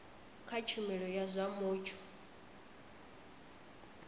kha tshumelo ya zwa mutsho